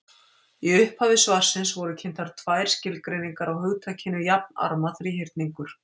Í upphafi svarsins voru kynntar tvær skilgreiningar á hugtakinu jafnarma þríhyrningur.